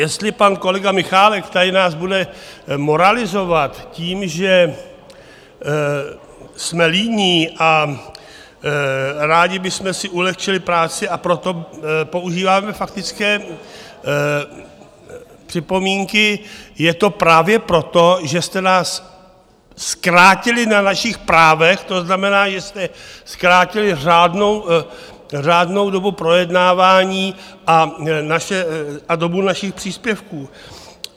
Jestli pan kolega Michálek tady nás bude moralizovat tím, že jsme líní a rádi bychom si ulehčili práci, a proto používáme faktické připomínky, je to právě proto, že jste nás zkrátili na našich právech, to znamená, že jste zkrátili řádnou dobu projednávání a dobu našich příspěvků.